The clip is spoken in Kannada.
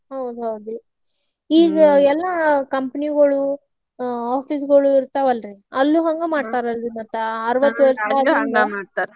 ಹೌದು ಹೌದ್ರಿ ಈಗೆ ಏಲ್ಲಾ company ಗೋಳು office ಗೋಳು ಇರ್ತಾವಲ್ರ್ರಿ ಅಲ್ಲೂ ಹಂಗ ಮಾಡ್ತಾರೇನ್ರಿ ಮತ್ತ ಅರುವತ್ತು ವರ್ಷ .